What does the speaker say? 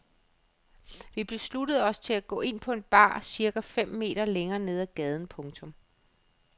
Vi besluttede os til at gå ind på en bar cirka fem meter længere nede ad gaden. punktum